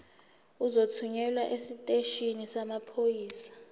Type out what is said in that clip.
uzothunyelwa esiteshini samaphoyisa